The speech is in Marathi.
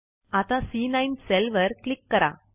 आता सी9 सेल वर क्लिक करा